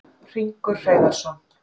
Hringur Hreiðarsson,